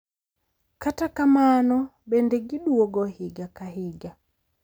Kata kamano, bende giduogo higa ka higa.